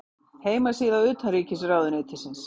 Heimasíða utanríkisráðuneytisins.